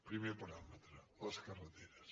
primer paràmetre les carreteres